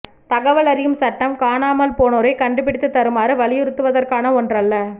தகவல் அறியும் சட்டம் காணாமல் போனோரை கண்டுபிடித்து தருமாறு வலியுறுத்துவதற்கான ஒன்றல்ல